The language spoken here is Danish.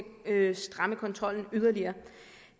stramme kontrollen yderligere